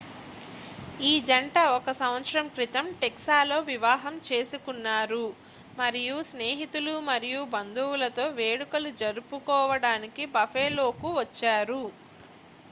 ఈ జంట 1సంవత్సరం క్రితం టెక్సాస్లో వివాహం చేసుకున్నారు మరియు స్నేహితులు మరియు బంధువులతో వేడుకలు జరుపుకోవడానికి బఫెలోకు వచ్చారు